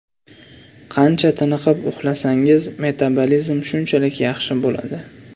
Qancha tiniqib uxlasangiz, metabolizm shunchalik yaxshi bo‘ladi.